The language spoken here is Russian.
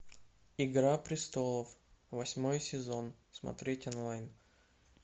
игра престолов восьмой сезон смотреть онлайн